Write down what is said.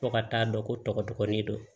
Fo ka taa dɔn ko tɔgɔ dɔgɔnin don